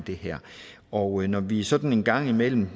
det her og når vi politikere sådan en gang imellem